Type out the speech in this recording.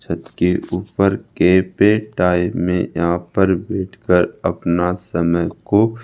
छत के ऊपर के पेड़ आए में यहां पर बैठकर अपना समय को--